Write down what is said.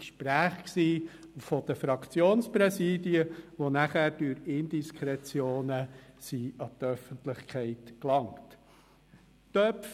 Es gab Gespräche zwischen den Fraktionspräsidien, die nachher durch Indiskretionen an die Öffentlichkeit gelangt sind.